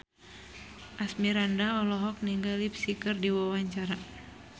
Asmirandah olohok ningali Psy keur diwawancara